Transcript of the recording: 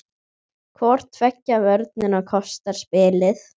Hvor tveggja vörnin kostar spilið.